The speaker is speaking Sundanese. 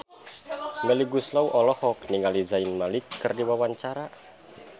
Melly Goeslaw olohok ningali Zayn Malik keur diwawancara